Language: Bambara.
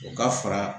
U ka fara